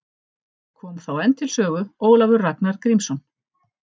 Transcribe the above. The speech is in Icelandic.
Kom þá enn til sögu Ólafur Ragnar Grímsson.